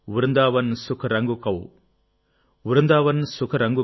Brindavana Vaibhogam Brindavana Vaibhogam